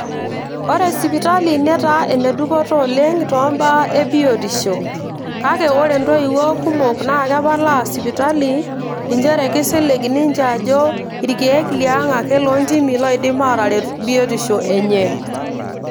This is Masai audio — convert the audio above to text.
ore sipitali netaa enedupoto oleng toombaa e biotisho kake ore intoiwuo kumok naa kepalaa sipitali inchere kisilig ninche ajo irkeek liang ake loontimi loidim ataret biotisho enye.